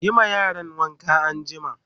Yi ma yaran wanka anjima!